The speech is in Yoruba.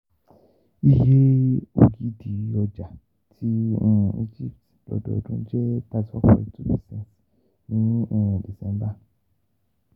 Iye ogidi owóngogo ọjà tí Egypt lọ́dọọdún jẹ́ thirty four point two percent ní um December